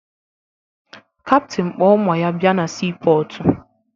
Kaptịn kpọ ụmụ ya bịa na siipọọtụ